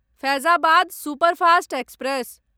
Faizabad superfast express